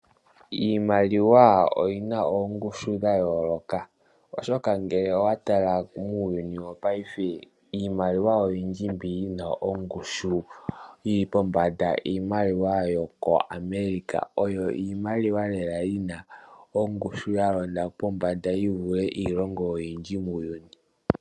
Iimaliwa oyina oongushu dha yooloka oshoka ngele owa tala muuyuni wo paife iimaliwa oyindji mbi yina ongushu iimaliwa yoko America oyo iimaliwa lela yina ongushu yalonda pombanda yivule iilonga oyindji muuyuni.